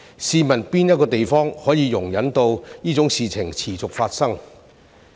試問哪一個地方可以容忍這種事情持續發生？